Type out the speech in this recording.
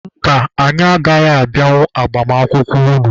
Mba, anyị agaghị abịanwu agbamakwụkwọ unu.